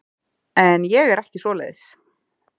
En ég er ekki svoleiðis.